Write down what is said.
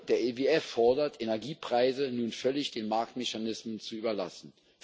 Der IWF fordert, Energiepreise nun völlig den Marktmechanismen zu überlassen.